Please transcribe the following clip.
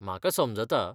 म्हाका समजता.